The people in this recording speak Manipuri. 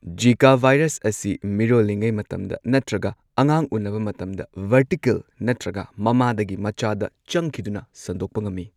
ꯓꯤꯀꯥ ꯚꯥꯏꯔꯁ ꯑꯁꯤ ꯃꯤꯔꯣꯜꯂꯤꯉꯩ ꯃꯇꯝꯗ ꯅꯠꯇ꯭ꯔꯒ ꯑꯉꯥꯡ ꯎꯅꯕ ꯃꯇꯝꯗ ꯚꯔꯇꯤꯀꯦꯜ ꯅꯠꯇ꯭꯭ꯔꯒ ꯃꯃꯥꯗꯒꯤ ꯃꯆꯥꯗ ꯆꯪꯈꯤꯗꯨꯅ ꯁꯟꯗꯣꯛꯄ ꯉꯝꯃꯤ꯫